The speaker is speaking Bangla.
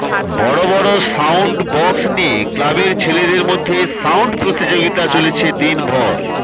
বড় বড় সাউন্ড বক্স নিয়ে ক্লাবের ছেলেদের মধ্যে সাউন্ড প্রতিযোগিতা চলেছে দিনভর